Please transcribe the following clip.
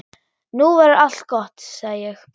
Nú verður allt gott, sagði ég.